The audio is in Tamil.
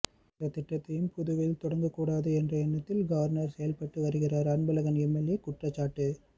எந்த திட்டத்தையும் புதுவையில் தொடங்க கூடாது என்ற எண்ணத்தில் கவர்னர் செயல்பட்டு வருகிறார் அன்பழகன் எம்எல்ஏ குற்றச்சாட்டு